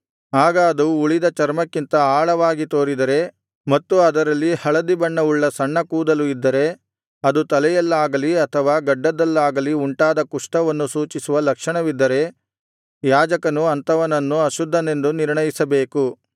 ಆಗ ಅದು ಉಳಿದ ಚರ್ಮಕ್ಕಿಂತ ಆಳವಾಗಿ ತೋರಿದರೆ ಮತ್ತು ಅದರಲ್ಲಿ ಹಳದಿಬಣ್ಣವುಳ್ಳ ಸಣ್ಣ ಕೂದಲು ಇದ್ದರೆ ಅದು ತಲೆಯಲ್ಲಾಗಲಿ ಅಥವಾ ಗಡ್ಡದಲ್ಲಾಗಲಿ ಉಂಟಾದ ಕುಷ್ಠವನ್ನು ಸೂಚಿಸುವ ಲಕ್ಷಣವಿದ್ದರೆ ಯಾಜಕನು ಅಂಥವನನ್ನು ಅಶುದ್ಧನೆಂದು ನಿರ್ಣಯಿಸಬೇಕು